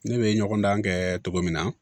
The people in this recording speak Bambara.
Ne bɛ ɲɔgɔn dan kɛ cogo min na